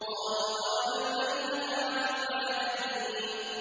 قَالُوا أَوَلَمْ نَنْهَكَ عَنِ الْعَالَمِينَ